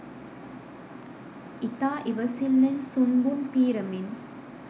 ඉතා ඉවසිල්ලෙන් සුන්බුන් පීරමින්